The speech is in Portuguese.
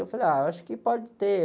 Eu falei, ah, eu acho que pode ter.